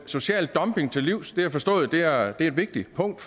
social dumping til livs jeg har forstået at det er et vigtigt punkt